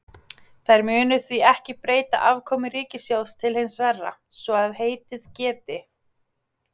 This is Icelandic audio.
Þær munu því ekki breyta afkomu ríkissjóðs til hins verra, svo að heitið geti.